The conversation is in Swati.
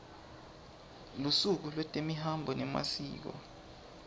lusuku lwetemihambo nemasiko